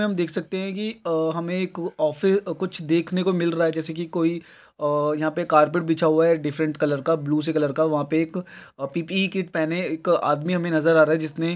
हम देख सकते है की अ हमें एक कुछ देख ने को मिल रहा है जिसे की कोई अ यहाँ पे कार्पेट बिछा हुआ है एक डिफरेंट कलर का ब्लू से कलर का वह पे एक पि_पि_ई किट पहने एक आदमी नज़र आ रहा है जिसने--